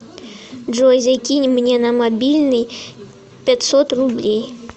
джой закинь мне на мобильный пятьсот рублей